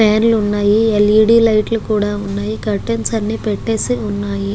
Fan లు వున్నాయ్ L E D lights ఉన్నాయి కర్టైన్స్ అన్ని పెట్టేసి ఉన్నాయి .